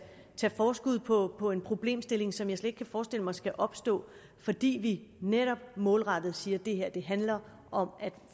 forskud på på en problemstilling som jeg slet ikke kan forestille mig skal opstå fordi vi netop målrettet siger at det her handler om at